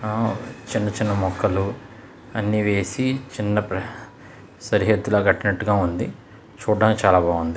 అ చిన్న చిన్న మొక్కలు అన్ని వేసి ఆ సరిహద్దులుగా కట్టినట్టుగా ఉంది. చూడడానికి చాలా బాగుంది.